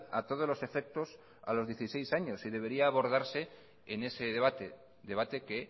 a todos los efectos a los dieciséis años y debería abordarse en ese debate debate que